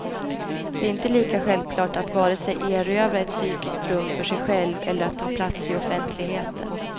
Det är inte lika självklart att vare sig erövra ett psykiskt rum för sig själv eller att ta plats i offentligheten.